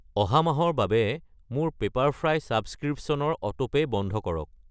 অহা মাহৰ বাবে মোৰ পেপাৰফ্ৰাই ছাবস্ক্ৰিপশ্য়নৰ অটোপে' বন্ধ কৰক।